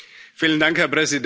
Herr Präsident!